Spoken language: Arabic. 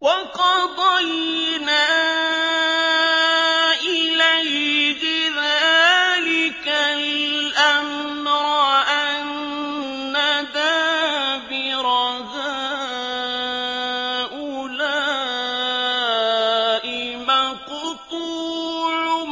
وَقَضَيْنَا إِلَيْهِ ذَٰلِكَ الْأَمْرَ أَنَّ دَابِرَ هَٰؤُلَاءِ مَقْطُوعٌ